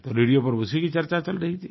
तो रेडियो पर उसी की चर्चा चल रही थी